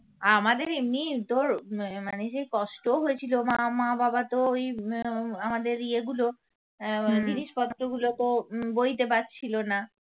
আমাদের এমনিই তোর মানে যে কষ্টও হয়েছিল মা মা বাবা তো এই আমাদের উম ইয়ে গুলো জিনিসপত্র গুলো তো উম বইতে পারছিল না।